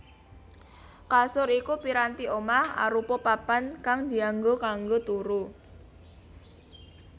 Kasur iku piranti omah arupa papan kang dianggo kanggo turu